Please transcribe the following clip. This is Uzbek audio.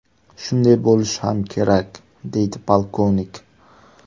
Shunday bo‘lishi ham kerak”, deydi polkovnik.